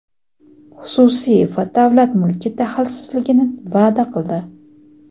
xususiy va davlat mulki daxlsizligini va’da qildi.